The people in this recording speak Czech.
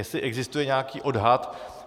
Jestli existuje nějaký odhad.